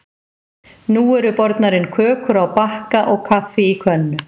Nú eru bornar inn kökur á bakka og kaffi í könnu.